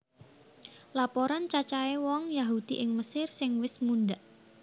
Laporan cacahé wong Yahudi ing Mesir sing wis mundhak